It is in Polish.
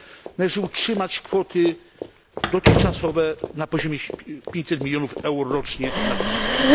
Należy utrzymać kwoty dotychczasowe na poziomie 500 milionów euro rocznie na ten cel.